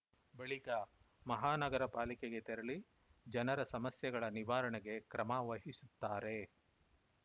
ಬಳಿಕ ಮಹಾನಗರ ಪಾಲಿಕೆಗೆ ತೆರಳಿ ಜನರ ಸಮಸ್ಯೆಗಳ ನಿವಾರಣೆಗೆ ಕ್ರಮ ವಹಿಸುತ್ತಾರೆ